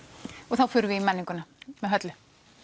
þá förum við í menninguna með Höllu